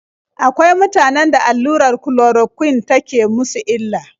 Akwai mutanen da allurar kulorokwin take musu illa.